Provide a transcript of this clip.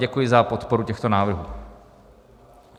Děkuji za podporu těchto návrhů.